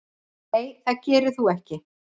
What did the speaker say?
Nei það gerir þú ekki.